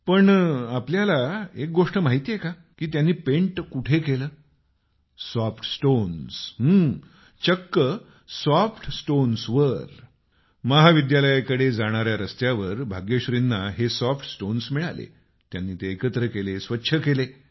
पण आपल्याला एक गोष्ट माहितेय की त्यांनी पेन्ट कुठे केलं सॉफ्ट स्टोन्स चक्क सॉफ्ट स्टोन्सवर महाविद्यालयाकडे जाणाऱ्या रस्त्यावर भाग्यश्रीना हे सॉफ्ट स्टोन्स मिळाले त्यांनी ते एकत्र केले स्वच्छ केले